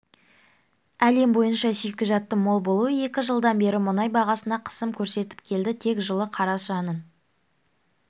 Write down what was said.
әлем бойынша шикізаттың мол болуы екі жылдан бері мұнай бағасына қысым көрсетіп келді тек жылы қарашаның